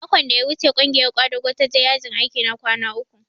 Makon da ya wuce ƙungiyar ƙwadago ta je yajin aiki na kwana uku